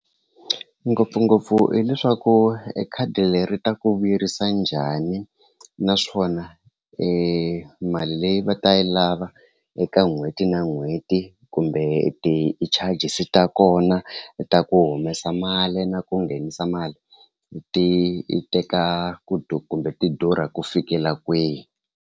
Ngopfungopfu hileswaku e khadi leri ta ku vuyerisa njhani naswona e mali leyi va ta yi lava eka n'hweti na n'hweti kumbe ti-charges ta kona ta ku humesa mali na ku nghenisa mali ti teka ku kumbe ti durha ku fikela kwihi.